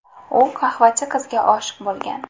U qahvachi qizga oshiq bo‘lgan.